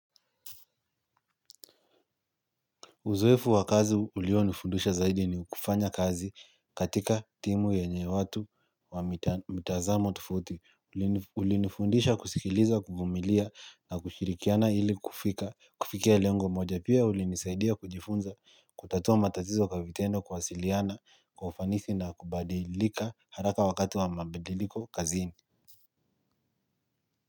Uzoefu wa kazi ulionifundusha zaidi ni kufanya kazi katika timu yenye watu wa mitazamo tofauti. Ulinifundisha kusikiliza, kuvumilia na kushirikiana ili kufika. Kufikia lengo moja pia ulinisaidia kujifunza, kutatua matatizo kwa vitendo kuwasiliana, kwa ufanisi na kubadilika haraka wakati wa mabadiliko kazini.